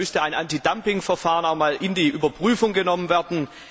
Da müsste ein Antidumpingverfahren in die Überprüfung genommen werden.